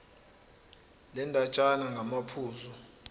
le ndatshana ngamaphuzu